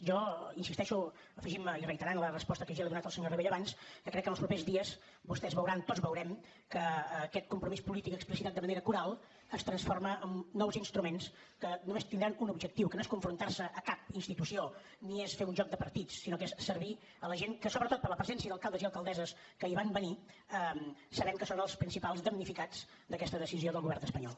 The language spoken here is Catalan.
jo insisteixo afegint me i reiterant la resposta que ja li he donat al senyor rabell abans que crec que en els propers dies vostès veuran tots veurem que aquest compromís polític explicitat de manera coral es transforma en nous instruments que només tindran un objectiu que no és confrontar se a cap institució ni és fer un joc de partits sinó que és servir la gent que sobretot per la presència d’alcaldes i alcaldesses que hi van venir sabem que són els principals damnificats d’aquesta decisió del govern espanyol